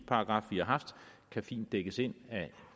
har haft kan fint dækkes ind af